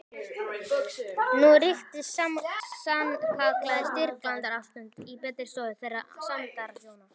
Nú ríkti sannkallað styrjaldarástand í betri stofu þeirra sæmdarhjóna